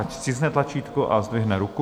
Ať stiskne tlačítko a zdvihne ruku.